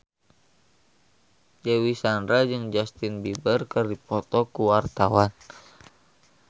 Dewi Sandra jeung Justin Beiber keur dipoto ku wartawan